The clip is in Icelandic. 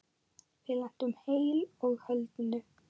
Við lentum heilu og höldnu.